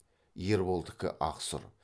ерболдікі ақ сұр